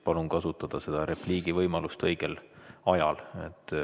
Palun kasutada repliigi võimalust õigel ajal.